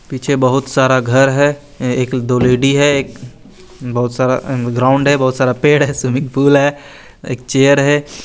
पीछे बहोत सारा घर है एक दो लेडी है एक बहोत सारा ग्राउंड है बहोत सारा पेड़ है स्विमिंग पूल है एक चेयर है।